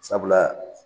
Sabula